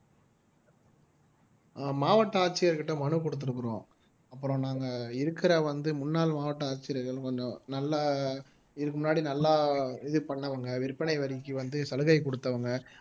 மாவட்ட ஆட்சியர்கிட்ட மனு கொடுத்திருக்கிறோம் அப்புறம் நாங்க இருக்கிற வந்து முன்னாள் மாவட்ட ஆட்சியர்கள் கொஞ்சம் நல்லா இதுக்கு முன்னாடி நல்லா இது பண்ணவங்க விற்பனை வரிக்கு வந்து சலுகை கொடுத்தவங்க